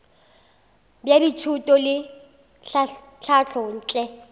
bja thuto le tlhahlo ntle